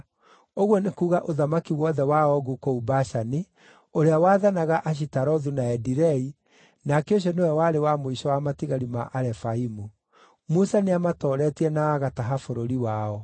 ũguo nĩ kuuga ũthamaki wothe wa Ogu kũu Bashani, ũrĩa waathanaga Ashitarothu na Edirei, nake ũcio nĩwe warĩ wa mũico wa matigari ma Arefaimu. Musa nĩamatooretie na agataha bũrũri wao.